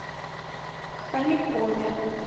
хомякове